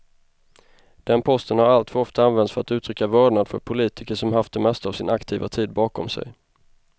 Den posten har alltför ofta använts för att uttrycka vördnad för politiker som haft det mesta av sin aktiva tid bakom sig.